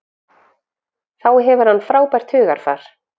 Þá hefur hann frábært hugarfar.